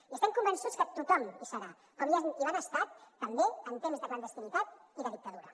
i estem convençuts que tothom hi serà com ja hi van ser també en temps de clandestinitat i de dictadura